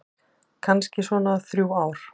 Kannski svona þrjú ár.